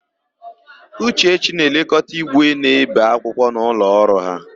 Uchechi na-elekọta ígwè na-ébè akwụkwọ n'ụlọọrụ ha.